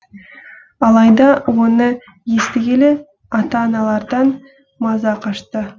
алайда оны естігелі ата аналардан маза қашты